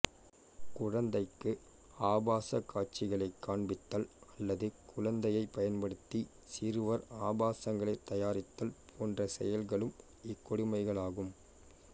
குழந்தைக்கு ஆபாசக் காட்சிகளைக் காண்பித்தல் அல்லது குழந்தையைப் பயன்படுத்தி சிறுவர் ஆபாசங்களைத் தயாரித்தல் போன்ற செயல்களும் இக்கொடுமைகளாகும்